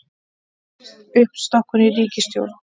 Uppstokkun í ríkisstjórn